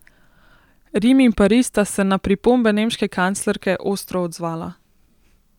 Rim in Pariz sta se na pripombe nemške kanclerke ostro odzvala.